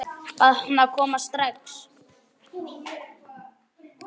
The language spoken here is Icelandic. Bað hana að koma strax.